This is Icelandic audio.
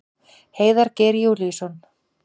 Heiðar Geir Júlíusson.